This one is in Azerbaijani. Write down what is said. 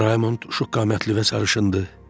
Oğlum Raymond şux qamətli və sarışındır.